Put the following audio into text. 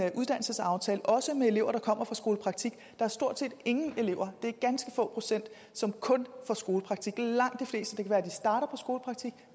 uddannelsesaftale også med elever der kommer fra skolepraktik der er stort set ingen elever det er ganske få procent som kun får skolepraktik langt